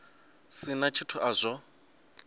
si na tshithu a zwo